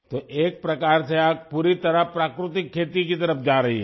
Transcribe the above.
तो एक प्रकार से आप पूरी तरह प्राकृतिक खेती की तरफ जा रही हैं